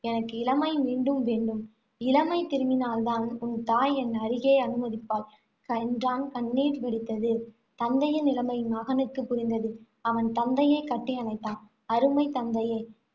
எனக்கு இளமை மீண்டும் வேண்டும். இளமை திரும்பினால் தான், உன் தாய் என் அருகே அனுமதிப்பாள், என்றான் கண்ணீர் வடித்தது. தந்தையின் நிலைமை மகனுக்கு புரிந்தது. அவன் தந்தையைக் கட்டியணைத்தான். அருமைத் தந்தையே